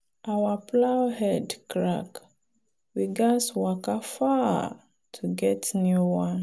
our plow head crack we gats waka far to get new one.